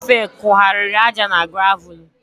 Shọvel kugharịrị aja na gravụlụ.